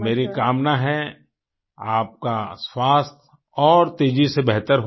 मेरी कामना है आपका स्वास्थ्य और तेजी से बेहतर हो